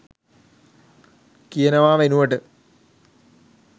කියනවා වෙනුවට